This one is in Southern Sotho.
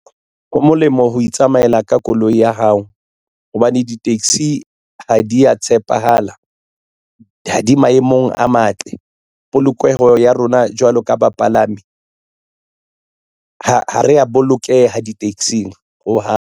Ho molemo ho itsamaela ka koloi ya hao hobane di-taxi ha di ya tshepahala ha di maemong a matle polokeho ya rona jwalo ka bapalami ha ho re a bolokeha di-taxi-ng hohang.